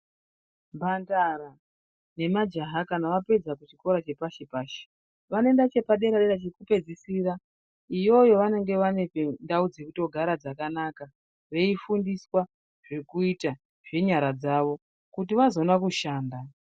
Mhandara nemajaha kana apedza chikora chepashi pashi Vanoenda chepadera dera chekupedzisira iyoyo vanenge vane ndau dzekugara dzakanaka Veifundiswa zvekuita nenyara dzawo kuti vazoona kushanda.